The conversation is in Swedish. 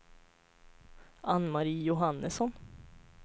Anne-Marie Johannesson